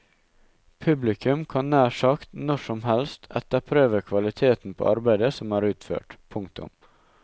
Publikum kan nær sagt når som helst etterprøve kvaliteten på arbeidet som er utført. punktum